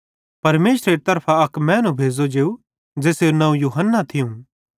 परमेशरेरी तरफां अक मैनू भेज़ो जेव ज़ेसेरू नवं यूहन्ना थियूं